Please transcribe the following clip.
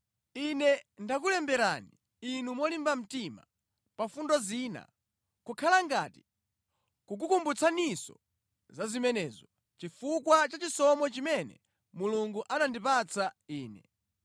Ine ndakulemberani inu molimba mtima pa fundo zina, kukhala ngati kukukumbutsaninso za zimenezo, chifukwa cha chisomo chimene Mulungu anandipatsa ine